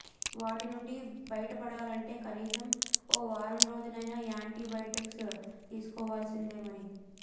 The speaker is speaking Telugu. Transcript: వాటినుండి బయటపడాలంటే కనీసం ఓ వారం రోజులైనా యాంటీ బయాటిక్స్ తీస్కోవాల్సిందే మరి